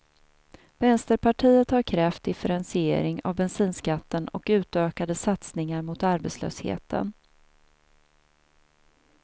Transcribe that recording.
Vänsterpartiet har krävt differentiering av bensinskatten och utökade satsningar mot arbetslösheten.